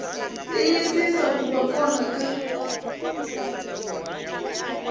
tiyisisa ku va kona ka